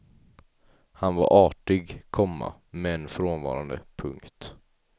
Han var artig, komma men frånvarande. punkt